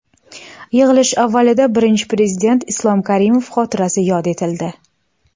Yig‘ilish avvalida Birinchi Prezident Islom Karimov xotirasi yod etildi.